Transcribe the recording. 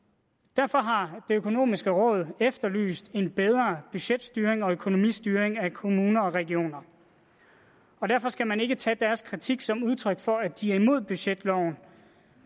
derfor har det økonomiske råd efterlyst en bedre budgetstyring og økonomistyring af kommuner og regioner og derfor skal man ikke tage deres kritik som udtryk for at de er imod budgetloven